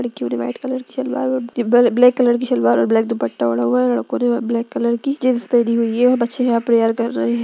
लड़कियों ने white colour की सलवार और ब्लैक कलर की सलवार और ब्लैक दुपट्टा ओढ़ा हुआ है लड़को ने ब्लैक कलर की जीन्स पेहनी हुई है बच्चे यहा प्रेयर कर रहे है।